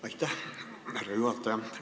Aitäh, härra juhataja!